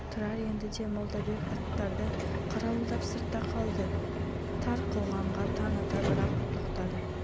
тұрар енді де молдабек аттарды қарауылдап сыртта қалды тар қылғанға таң ата бір-ақ тоқтады